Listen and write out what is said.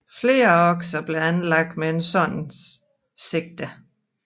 Flere akser blev anlagt med et sådant sigte